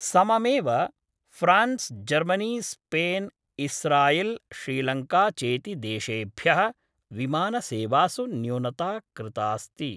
सममेव France Germany Spain Israel Sri Lanka चेति देशेभ्यः विमानसेवासु न्यूनता कृतास्ति।